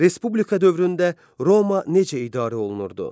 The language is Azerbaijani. Respublika dövründə Roma necə idarə olunurdu?